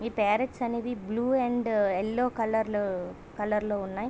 ఈ పార్రట్స్ అని blue and yellow కలలు- కలర్ లో ఉన్నాయి.